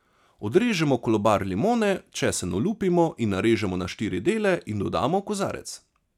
Odrežemo kolobar limone, česen olupimo in narežemo na štiri dele in dodamo v kozarec.